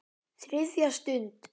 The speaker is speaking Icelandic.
ÞRIÐJA STUND